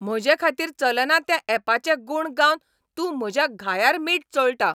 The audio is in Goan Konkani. म्हजेखातीर चलना त्या ऍपाचे गूण गावन तूं म्हज्या घायार मीठ चोळटा.